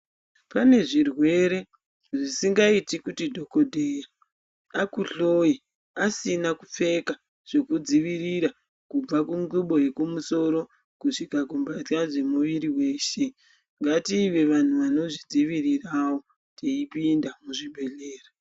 Pane zvirwere zvisingaiti kuti dhogodheya akuhloye asina kupfeka zvekudzivirira kubva kungubo yekumusoro, kusvika kumbatya dzemwiri yeshe ngative vantu vanozvidziviriravo teipinda muzvibhedhlera.